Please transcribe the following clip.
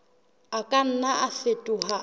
a ka nna a fetoha